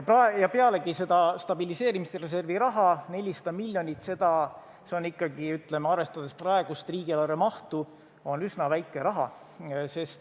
Pealegi, seda stabiliseerimisreservi raha on 400 miljonit, see on, arvestades praegust riigieelarve mahtu, ikkagi üsna väike raha.